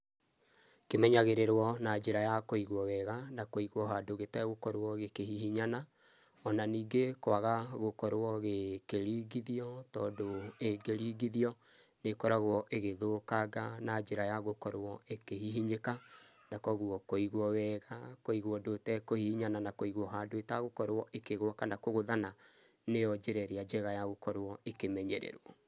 Kĩmenyagĩrĩrwo na njĩra ya kũigwo wega, na kũigwo handũ gĩtegũkorwo gĩkĩhihinyana. Ona ningĩ kwaga gũkorwo gĩkĩringithio tondũ ĩngĩringithio nĩĩkoragwo ĩgĩthũkanga na njĩra ya gũkorwo ĩkĩhihinyĩka, na koguo kũigwo wega kũigwo ũndũ ĩtekũhihinyana na kũigwo handũ ĩtegũkorwo ĩkĩgwa kana kũgũthana nĩo njĩra ĩrĩa njega ya gũkorwo ĩkĩmenyererwo.